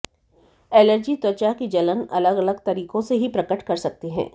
allergy त्वचा की जलन अलग अलग तरीकों से ही प्रकट कर सकते हैं